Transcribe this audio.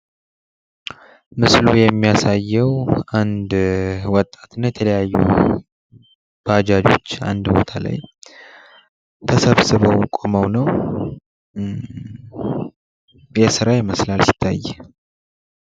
ምስሉ የሚያሳየው አንድ ወጣትና ብዙ ባጃጆች አንድ ላይ ተሰብስበው ቆመው ነው ።ለስራ ይመስላል።